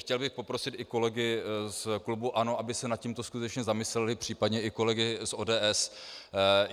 Chtěl bych poprosit i kolegy z klubu ANO, aby se nad tímto skutečně zamysleli, případně i kolegy z ODS.